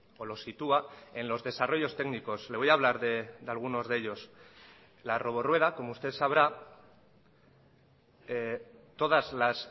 o lo sitúa en los desarrollos técnicos le voy a hablar de algunos de ellos la robo rueda como usted sabrá todas las